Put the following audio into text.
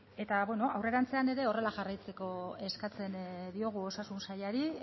ez eta bueno aurrerantzean ere horrela jarraitzeko eskatzen diogu osasun sailari